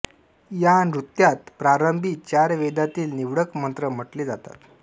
या नृत्यात प्रारंभी चार वेदातील निवडक मंत्र म्हटले जातात